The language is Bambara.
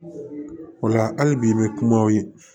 O la hali bi i bɛ kuma aw ye